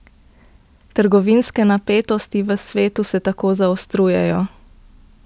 Trgovinske napetosti v svetu se tako zaostrujejo.